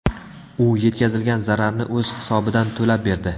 U yetkazilgan zararni o‘z hisobidan to‘lab berdi.